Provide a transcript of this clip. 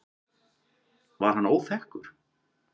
Var hann óþekkur?